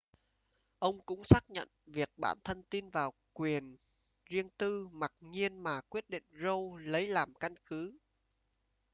ông cũng xác nhận việc bản thân tin vào quyền riêng tư mặc nhiên mà quyết định roe lấy làm căn cứ